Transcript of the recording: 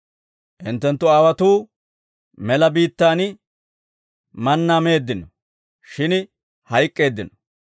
Hinttenttu aawotuu mela biittaan mannaa meeddino; shin hayk'k'eeddino.